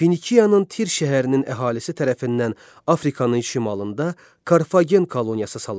Finikiyanın Tir şəhərinin əhalisi tərəfindən Afrikanın şimalında Karfagen koloniyası salındı.